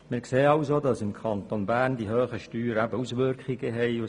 Wir sehen, dass im Kanton Bern die hohen Steuern Auswirkungen haben.